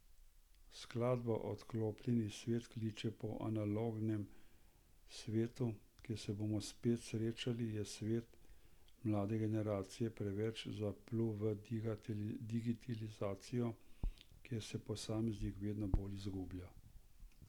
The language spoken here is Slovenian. Skladba Odklopljeni svet kliče po analognem svetu, kjer se bomo spet srečali, je svet, mlade generacije preveč zaplul v digitalizacijo, kjer se posameznik vedno bolj izgublja?